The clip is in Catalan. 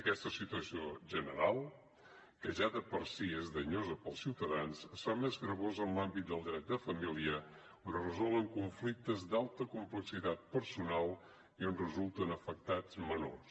aquesta situació general que ja de per si és danyosa per als ciutadans es fa més gravosa en l’àmbit del dret de família on es resolen conflictes d’alta complexitat personal i en resulten afectats menors